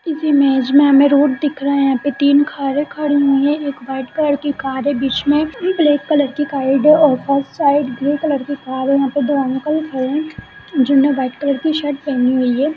इस इमेज में हमें रोड दिख रहा है तीन कार खड़ी हुई है एक वाइट कलर बीच में एक ब्लैक कलर की कार और first side grey colour car है यहां पर दो अंकल खड़े हैं। जिन्होंने व्हाइट कलर की शर्ट पहनी हुई है।